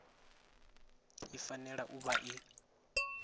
i fanela u vha i